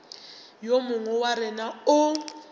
yo mongwe wa rena o